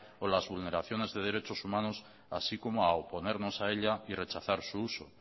o las vulneraciones de derechos humanos así como a oponernos a ella y rechazar su uso